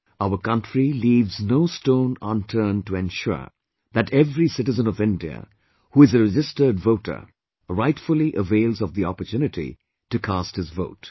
Our Country leaves, no stone unturned to ensure that every citizen of India who is a registered voter, rightfully avails of the opportunity to cast his vote